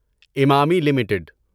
Emami limited